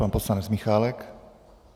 Pan poslanec Michálek.